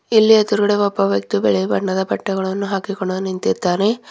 ಇಲ್ಲಿ ಎದುರಗಡೆ ಒಬ್ಬ ವ್ಯಕ್ತಿ ಬಿಳಿ ಬಣ್ಣದ ಬಟ್ಟೆಗಳನ್ನು ಹಾಕಿಕೊಂಡು ನಿಂತಿದ್ದಾನೆ.